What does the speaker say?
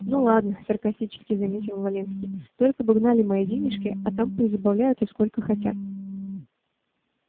ну ладно саркастически заметил валенский только бы гнали мои денежки а там пусть забавляются сколько хотят